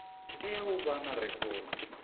tea u vha na rekhodo